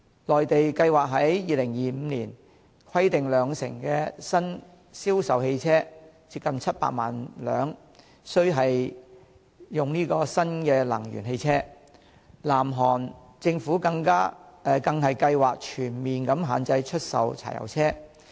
內地計劃於2025年，規定兩成新銷售汽車須為新能源汽車，南韓政府更計劃全面限制出售柴油車。